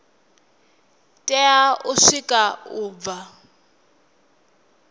tea u sikwa u bva